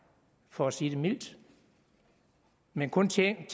for at sige det mildt men kun tænkte